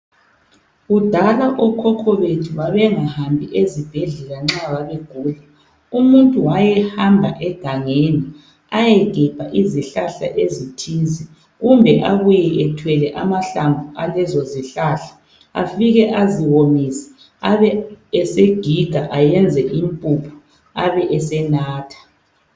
Kudala okhokho bethu babengahambi ezibhedlela nxa babegula. Umuntu wayehamba egangeni ayegebha izihlahla ezithize kumbe abuye ethwele amahlamvu alezo zihlahla afike aziwomise abe esegiga ayenze impuphu abe esenatha.